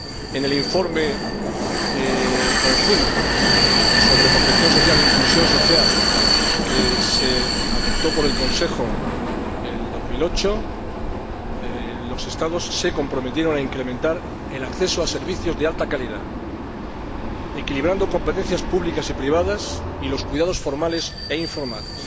En el informe conjunto sobre protección social e inclusión social que se adoptó por el Consejo en 2008, los Estados se comprometieron a incrementar el acceso a servicios de alta calidad, equilibrando competencias públicas y privadas, y los cuidados formales e informales.